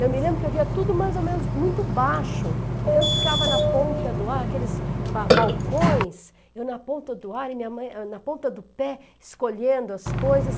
Eu me lembro que eu via tudo mais ou menos muito baixo, então eu ficava na ponta do ar, aqueles ba balcões, eu na ponta doa ar e minha mãe, eu na ponta do pé, escolhendo as coisas.